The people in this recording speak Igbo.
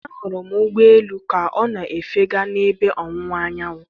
Ahụrụ m ụgbọ elu ka ọ na-efega n'ebe ọwụwa anyanwụ.